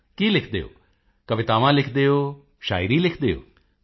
ਮੋਦੀ ਜੀ ਕੀ ਲਿਖਦੇ ਹੋ ਕਵਿਤਾਵਾਂ ਲਿਖਦੇ ਹੋ ਸ਼ਾਇਰੀ ਲਿਖਦੇ ਹੋ